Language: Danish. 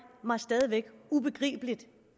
mig ubegribeligt